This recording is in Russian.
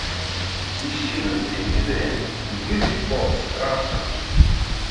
ищи на телевизоре мьюзик бокс раша